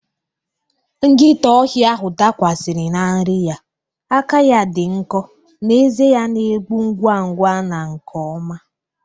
Nkịta ọhịa ahụ dakwasiri na nri ya, aka ya dị nkọ na ezé ya na-egbu ngwa ngwa na nke ọma.